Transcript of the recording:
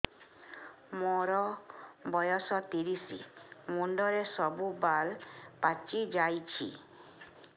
ମୋର ବୟସ ତିରିଶ ମୁଣ୍ଡରେ ସବୁ ବାଳ ପାଚିଯାଇଛି